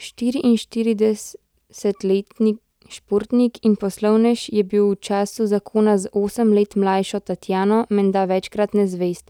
Štiriinštiridesetletni športnik in poslovnež je bil v času zakona z osem let mlajšo Tatjano menda večkrat nezvest,